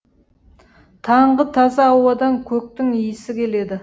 таңғы таза ауадан көктің иісі келеді